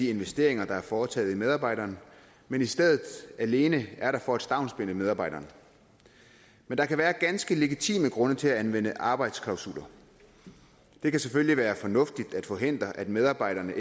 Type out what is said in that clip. investeringer der er foretaget i medarbejdere men i stedet alene er der for at stavnsbinde medarbejderne men der kan være ganske legitime grunde til at anvende arbejdsklausuler det kan selvfølgelig være fornuftigt at forhindre at medarbejdere